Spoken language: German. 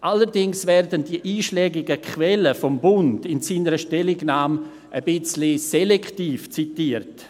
Allerdings werden die einschlägigen Quellen des Bundes in seiner Stellungnahme etwas selektiv zitiert.